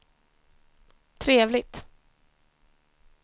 trevligt